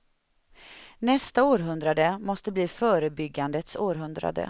Nästa århundrade måste bli förebyggandets århundrade.